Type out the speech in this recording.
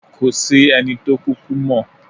Kò sí ẹni tó kúkú mọ̀.